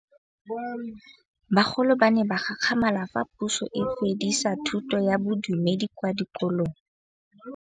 Bagolo ba ne ba gakgamala fa Pusô e fedisa thutô ya Bodumedi kwa dikolong.